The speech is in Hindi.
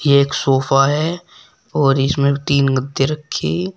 एक सोफा है और इसमें तीन गत्ते रखी--